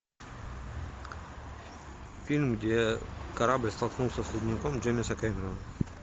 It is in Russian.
фильм где корабль столкнулся с ледником джеймса кэмерона